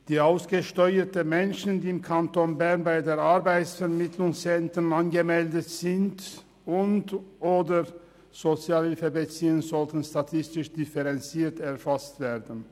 Die ausgesteuerten Menschen, die im Kanton Bern bei den RAV angemeldet sind und/oder Sozialhilfe beziehen, sollten statistisch differenziert erfasst werden.